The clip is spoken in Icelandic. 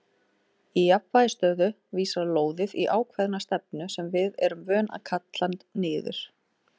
Í jafnvægisstöðu vísar lóðið í ákveðna stefnu sem við erum vön að kalla niður.